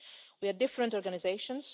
We are different organisations